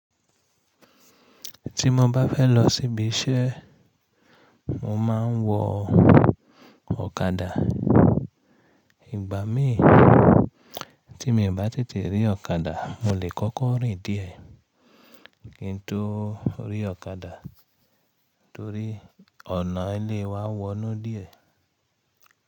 Ti mo ba fẹ́ lọ síbi iṣẹ́, mo máa ń wọ ọ̀kadà. Ìgbà mí tí mi ò bá te te rí ọ̀kadà, mo lè kọ́kọ́ rìn díẹ̀, kí n tó rí ọ̀kadà torí ọ̀nà ilé wa wọ́nú díẹ̀.